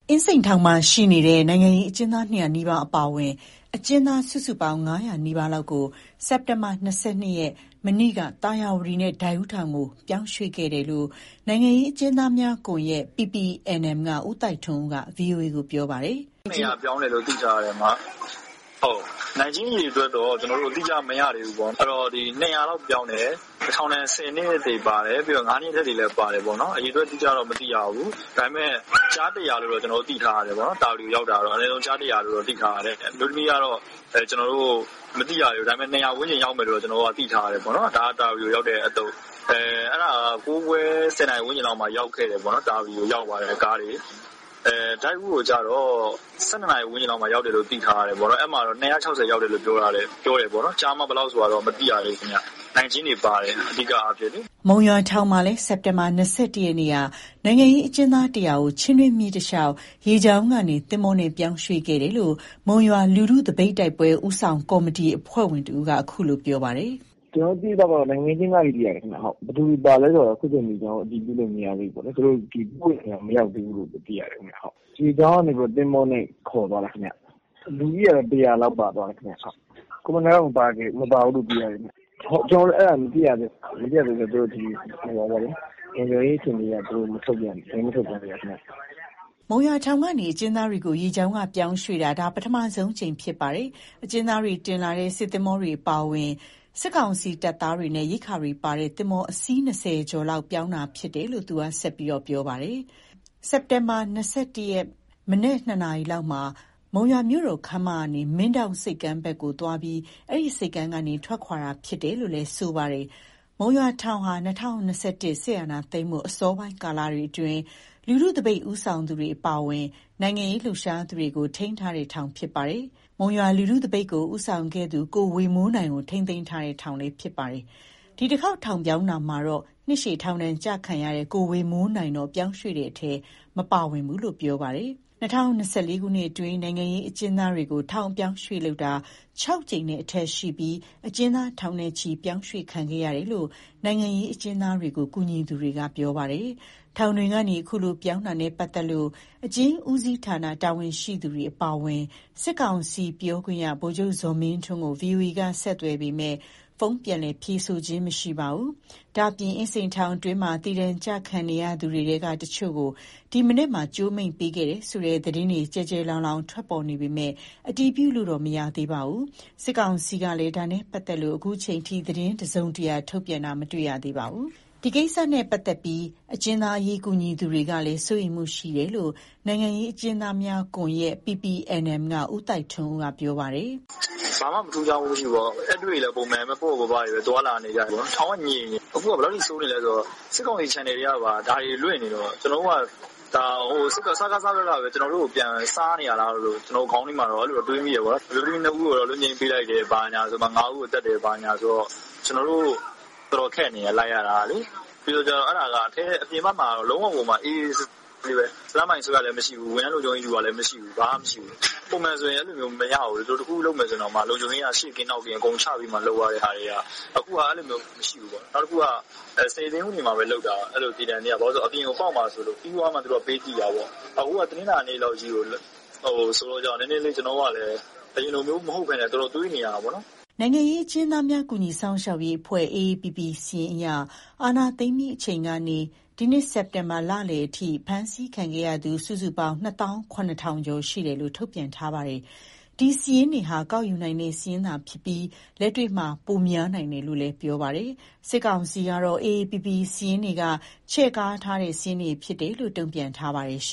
အင်းစိန်ထောင်မှာရှိနေတဲ့ နိုင်ငံရေးအကျဉ်းသား ၂၀၀ နီးပါးအပါအ၀င် အကျဥ်းသား စုစုပေါင်း ၅၀၀ နီးပါးလောက်ကို စက်တင်ဘာ ရက် မနေ့က သာယာဝတီနဲ့ ဒိုက်ဦးထောင်ကို ပြောင်းရွှေ့ခဲ့တယ်လို့ နိုင်ငံရေးအကျဉ်းသားများကွန်ရက် က ဦးသိုက်ထွန်းဦးက ဗွီအိုအေကို ပြောပါတယ်။ “အယောက် ၂၀၀ လောက်ပြောင်းတယ်။ နိုင်ကျဉ်းအရေအတွက်တော့ အတိအကျမရသေးဘူးပေါ့၊ ၂၀၀လောက်ပြောင်းတယ်။ ထောင်ဒဏ် ၁၀နှစ် အထက်၊ ၅နှစ်အထက်တွေလည်း ပါတာပေါ့။ အရေအတွက် အတိအကျတော့ မသိရဘူး။ ကျား ၁၀၀ လို့တော့ သိရတယ်၊ သာယာဝတီကို ရောက်တာကလေ။ အမျိုးသမီးကတော့မသိရသေးဘူး၊ ၂၀၀ ဝန်းကျင် လောက်ရှိမယ်။ အဲဒါ သာယာဝတီရောက်တာ ၉ခွဲ ၁၀ခွဲလောက်မှာ ရောက်ခဲ့တာ။ ဒိုက်ဦးကိုတော့ ၁၂နာရီဝန်းကျင်လောက်မှာ ရောက်တယ်လို့ သိထားရတယ်။ ၂၆၀လောက်ရောက်တယ် ပြောတယ်။ ကျား/မ ဘယ်လောက်ဆိုတာ မသိရသေးဘူး။ အဓိကက နိုင်ကျဉ်းတွေပါတယ်။ ၁၀နှဏ်အထက်၊ ၅နှစ်အထက်တွေပါတယ်လို့ ကျနော်တို့သိထားတယ်။ မုံရွာထောင်မှာလည်း စက်တင်ဘာလ ရက်နေ့က နိုင်ငံရေးအကျဉ်းသား ၁၀၀ ကို ချင်းတွင်းမြစ်တလျှောက် ရေကြောင်းကနေ သင်္ဘောနဲ့ ပြောင်းရွှေ့ ခဲ့တယ်လို့ မုံရွာလူထုသပိတ်တိုက်ပွဲ ဦးဆောင်ကော်မတီအဖွဲ့ဝင်တဦးက ခုလို ပြောပြပါတယ်။ “ကျနော်သိသလောက် နိုင်ကျဉ်းတွေဘဲ။ ဘယ်သူတွေပါလဲဆိုတာ ကျနော်တို့ တိကျမသိရသေးဘူး။ သူတို့ကိုပို့တဲ့နေရာ မရောက်သေးဘူးလို့ သိထားတယ်။ ရေကြောင်းကနေ သင်္ဘောကနေခေါ်သွားတာ။ လူဦးရေကတော့ ၁၀၀လောက်ပါသွားတယ်။ ကိုဝေမိုးနိုင်တော့ မပါသွားသေးဘူး။ ကျနော်တို့ အဲဒီစာရင်း တိကျမသိရသေးဘူး၊ လုံခြုံရေးအရ မထုတ်ပြန်သေးဘူးလို့သိတယ်။” မုံရွာထောင်ကနေ အကျဉ်းသားတွေကို ရေကြောင်းကနေ ပြောင်းရွှေ့တာ ဒါ ပထမဆုံးအကြိမ် ဖြစ်ပါတယ်။ အကျဉ်းသားတွေကို တင်လာတဲ့ စစ်သင်္ဘောတွေအပါအဝင် စစ်ကောင်စီ တပ်သားတွေနဲ့ ရိက္ခာတွေပါတဲ့ သင်္ဘော အစီး ၂၀ကျော်လောက် ပြောင်းတာဖြစ်တယ်လို့ သူက ဆက်ပြောပါတယ်။ စက်တင်ဘာ ၂၁ ရက်နေ့မနက် နှစ်နာရီလောက်မှာ မုံရွာမြို့တော်ခန်းမကနေ မင်းဒေါင့်ဆိပ်ကမ်းဘက်ကိုသွားပြီး အဲဆိပ်ကမ်းကနေ ထွက်ခွာတာဖြစ်တယ်လို့လည်း ဆိုပါတယ်။ မုံရွာထောင်ဟာ ၂၀၂၁ စစ်အာဏာသိမ်းမှု အစောပိုင်းကာလတွေအတွင်း လူထုသပိတ် ဦးဆောင်သူတွေ အပါအဝင် နိုင်ငံရေးလှုပ်ရှားသူတွေကို ထိန်းသိမ်းထားတဲ့ ထောင်ဖြစ်ပါတယ်။ မုံရွာလူထု သပိတ်ကို ဦးဆောင်ခဲ့သူ ကိုဝေမိုးနိုင်ကို ထိန်းသိမ်းထားတဲ့ ထောင်လဲဖြစ်ပါတယ်။ ဒီတခေါက် ထောင်ပြောင်းတာမှာတော့ နှစ်ရှည်ထောင်ဒဏ်ကျခံရတဲ့ ကိုဝေမိုးနိုင်တော့ ပြောင်းရွှေ့တဲ့အထဲ မပါဝင်ခဲ့ဘူးလို့ပြောပါတယ်။ ၂၀၂၄ခုနှစ်အတွင်း နိုင်ငံရေးအကျဉ်းသားတွေကို ထောင်အပြောင်းအရွှေ့လုပ်တာ ၆ ကြိမ်နဲ့ အထက် ရှိပြီး အကျဉ်း သားထောင်နဲ့ချီ ပြောင်းရွှေ့ခံခဲ့ရတယ်လို့ နိုင်ငံရေးအကျဉ်းသားတွေကို ကူညီသူတွေက ပြောပါတယ်။ ထောင်တွေကနေ အခုလို ပြောင်းတာနဲ့ပတ်သက်လို့ အကျဉ်းဦးစီးဌာန တာဝန်ရှိသူတွေ အပါအဝင် စစ်ကောင်စီ ပြောရေးဆိုခွင့်ရှိသူ ဗိုလ်ချုပ် ဇော်မင်းထွန်းတို့ကို ဗွီအိုအေက ဆက်သွယ်ပေမဲ့ ဖုန်းပြန်လည် ဖြေဆိုခြင်း မရှိပါဘူး။ ဒါ့အပြင် အင်းစိန်ထောင်တွင်းမှာ သေဒဏ် ကျခံနေရသူတွေထဲက တချို့ကို ဒီမနက်မှာ ကြိုးမိန့်ပေးခဲ့တယ်ဆိုတဲ့ သတင်းတွေ ကျယ်ကျယ်လောင်လောင် ထွက်ပေါ်နေပေမယ့် အတည်ပြုလို့တော့ မရသေးပါဘူး။ စစ်ကောင်စီဘက်ကလည်း ဒါနဲ့ပတ်သက်လို့ အခုချိန်ထိ သတင်း တစုံတရာ ထုတ်ပြန်တာ မတွေ့ရသေးပါဘူး။ ဒီကိစ္စနဲ့ပတ်သတ်လို့ အကျဉ်းသားအရေး ကူညီသူတွေကလည်း စိုးရိမ်မှုရှိနေတယ်လို့ နိုင်ငံရေးအကျဉ်းသားများကွန်ရက် က ဦးသိုက်ထွန်းဦးက ပြောပါတယ်။ “ဘာမှထူးခြားမှုမရှိဘူး အမ၊ ဧည့်တွေ့လည်းပုံမှန်ဘဲ ပေါ့ပေါ့ပါးပါး သွားလာနေကြတယ်။ ထောင်ကငြိမ်နေတယ်။ ခုက ဘယ်လောက် ထိဆိုးနေလဲဆို စစ်ကောင်စီ ချန်နယ် တွေကပါ ဒါတွေလွှင့်နေတော့ စကစဘက်က ကျနော်တို့ကို ပြန်စားနေတာလားပေါ့၊ ခေါင်းထဲမှာ တော့အဲလို တွေးမိနေတယ်။ မိန်းကလေး ၂ဦး လွတ်ငြိမ်းပေးလိုက်တယ်၊ ကျန် ၅ဦးသတ်တယ် ဘာညာတွေ ဖြစ်နေတယ်။ ကျနော်တို့ လိုက်ရတာခက်နေတယ်။ ပြင်ဘက်မှာက အေးအေးဆေးဆေး စတန်းဘိုင်လဲမရှိဘူး၊ ဝန်ထမ်းလုံခြုံရေး ယူတာလည်းမရှိဘူး။ ပုံမှန်ဆိုရင် သူတို့ အဲလိုလုပ်မယ်ဆို လုံခြုံရေးက ရှေ့ကင်းနောက်ကင်း ချလုပ်တာ၊ အဲလိုခုကမရှိဘူး။ နောက်တခုက များသောအားဖြင့် စနေ၊ တနင်္ဂနွေဘဲလုပ်တာ၊ အပြင်ပေါက်မှာစိုးရိမ်လို့။ ခုက ကြားရက် တနင်္လာနေ့ကြီးဆိုတော့ အရင်လိုမဟုတ်ဘဲ တွေးနေရတာပေါ့။” နိုင်ငံရေးအကျဉ်းသားများ ကူညီစောင့်ရှောက်ရေးအဖွဲ့ AAPP စာရင်းအရ အာဏာသိမ်းပြီးချိန်ကနေ ဒီနှစ် စက်တင်ဘာလလယ်အထိ ဖမ်းဆီးခံခဲ့ရသူ စုစုပေါင်း ၂သောင်း ၇ထောင်ကျော် ရှိတယ်လို့ ထုတ်ပြန်ထားပါတယ်။ ဒီစာရင်းတွေက ကောက်ယူနိုင်တဲ့စာရင်းသာ ဖြစ်ပြီး လက်တွေ့မှာတော့ ပိုများနိုင်တယ်လို့ ပြောပါတယ်။ စစ်ကောင်စီကတော့ အေအေပီပီ စာရင်းတွေက ချဲ့ကားထားတဲ့ စာရင်းတွေဖြစ်တယ်လို့ တုံပြန်ထားပါတယ်။